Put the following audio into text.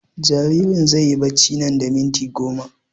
Jaririn zai yi barci nan da minti goma